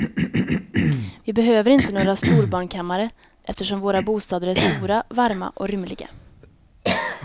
Vi behöver inte några storbarnkammare eftersom våra bostäder är stora, varma och rymliga.